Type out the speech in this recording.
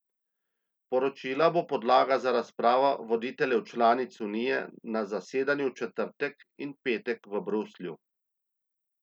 Poročilo bo podlaga za razpravo voditeljev članic unije na zasedanju v četrtek in petek v Bruslju.